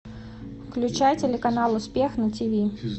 включай телеканал успех на тиви